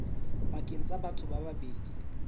pakeng tsa batho ba babedi